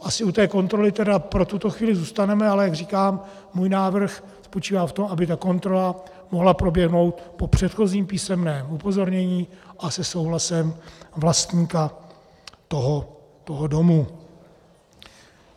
Asi u té kontroly tedy pro tuto chvíli zůstaneme, ale jak říkám, můj návrh spočívá v tom, aby ta kontrola mohla proběhnout po předchozím písemném upozornění a se souhlasem vlastníka toho domu.